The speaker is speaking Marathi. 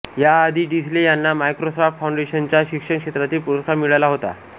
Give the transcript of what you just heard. याआधी डिसले यांना मायक्रोसॉफ्ट फाउंडेशनचा शिक्षण क्षेत्रातील पुरस्कार मिळाला होता